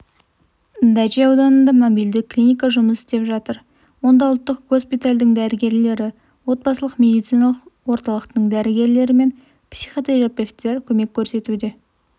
дачи ауданында мобилді клиника жұмыс істеп жатыр онда ұлттық госпитальдің дәрігерлері отбасылық медициналық орталықтың дәрігерлері мен психотерапевтері көмек көрсетуде